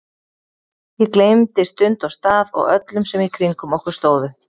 Ég gleymdi stund og stað og öllum sem í kringum okkur stóðu.